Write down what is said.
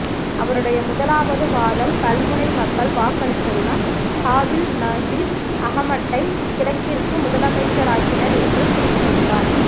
அவருடைய முதலாவது வாதம் கல்முனை மக்கள் வாக்களித்துத்தான் ஹாபிஸ் நசீர் அஹமட்டை கிழக்கிற்கு முதலமைச்சராக்கினர் என்று குறிப்பிட்டிருந்தாார்